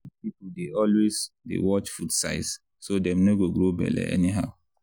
big people dey always dey watch food size so dem no go grow belle anyhow.